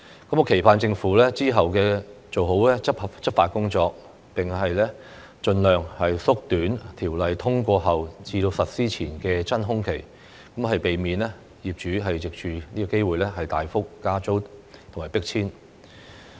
我期盼政府之後做好執法工作，並盡量縮短條例通過後至實施前的"真空期"，避免業主藉此機會大幅加租或迫遷。